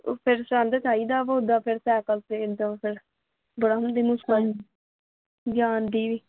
ਉਹ ਫੇਰ ਚੰਦ ਚਾਹੀਦਾ ਵਾ ਸਾਈਕਲ ਤੇ ਏਦਾਂ ਫੇਰ ਬੜਾ